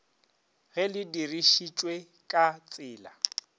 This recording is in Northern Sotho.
ge le dirišitšwe ka tsela